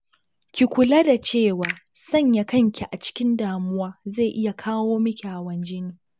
Ki kula da cewa, sanya kanki a cikin damuwa zai iya kawo miki hawan jini